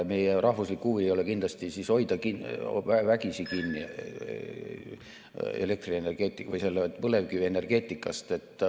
Meie rahvuslik huvi ei ole kindlasti hoida vägisi kinni põlevkivienergeetikast.